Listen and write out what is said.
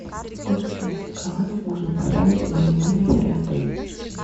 сколько детских кроваток можно поставить в моем номере при отеле